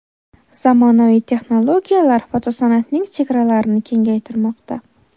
Zamonaviy texnologiyalar fotosan’atning chegaralarini kengaytirmoqda.